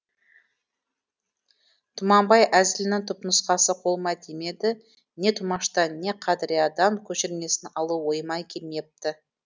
тұманбай әзілінің түпнұсқасы қолыма тимеді не тұмаштан не қадыриядан көшірмесін алу ойыма келмепті